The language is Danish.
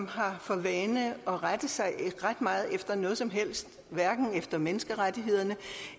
har for vane at rette sig ret meget efter noget som helst hverken efter hvad menneskerettighederne